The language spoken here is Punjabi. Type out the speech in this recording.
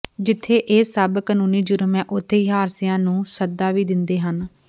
ਜਿੱਥੇ ਇਹ ਸਭ ਕਾਨੰੂਨੀ ਜ਼ੁਰਮ ਹੈ ਉੱਥੇ ਹੀ ਹਾਦਸਿਆਂ ਨੰੂ ਸੱਦਾ ਵੀ ਦਿੰਦੇ ਹਨ